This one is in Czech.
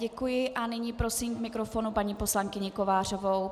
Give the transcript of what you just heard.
Děkuji a nyní prosím k mikrofonu paní poslankyni Kovářovou.